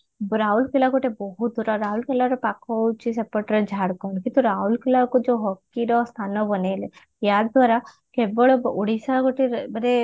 ରାଉରକେଲା ଥିଲା ବହୁତ ଦୂର ରାଉରକେଲାର ପାଖ ହଉଛି ସେପଟର ଝାଡଖଣ୍ଡ କିନ୍ତୁ ରୌରକେଲାକୁ ଯୋଉ ହକି ର ସ୍ଥାନ ବନେଇଲେ ୟା ଦ୍ଵାରା କେବଳ ଓଡିଶା ଗୋଟେ ମାନେ